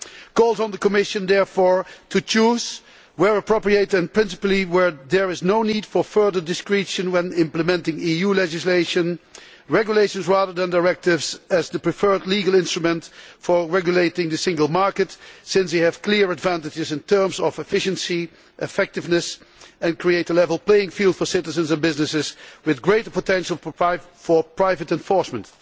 calls on the Commission, therefore, to choose, where appropriate and principally where there is no need for further discretion when implementing EU legislation, regulations rather than directives as the preferred legal instrument for regulating the Single Market since they have clear advantages in terms of efficiency and effectiveness and create a level playing field for citizens and business, with greater potential for private enforcement'.